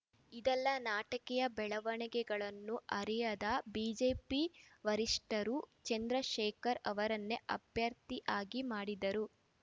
ಇದೆಲ್ಲ ನಾಟಕೀಯ ಬೆಳವಣಿಗೆಗಳನ್ನು ಅರಿಯದ ಬಿಜೆಪಿ ವರಿಷ್ಠರು ಚಂದ್ರಶೇಖರ್‌ ಅವರನ್ನೇ ಅಭ್ಯರ್ಥಿಯಾಗಿ ಮಾಡಿದರು